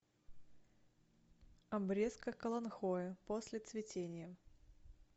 обрезка каланхоэ после цветения